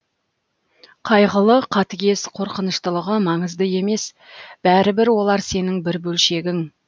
қайғылы қатыгез қорқыныштылығы маңызды емес бәрібір олар сенің бір бөлшегің